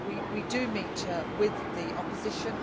Keyser, we do meet with the opposition.